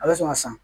A bɛ sɔn ka san